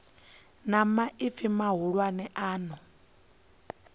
na maipfi mahulwane a no